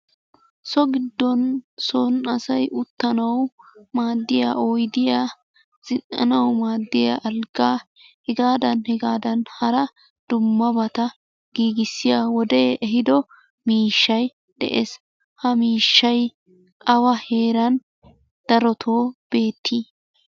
So giddon son asayi uttanawu maaddiya oydiya zinn'anawu maaddiya alggaa hegaadan hegaadan hara dummabata giigissiya wodee ehiido miishshayi de'es. Ha miishshayi awa heeran darotoo beettii?